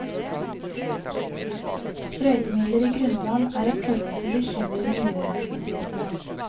Sprøytemidler i grunnvann er ett forhold som bekymrer miljøvernmyndighetene.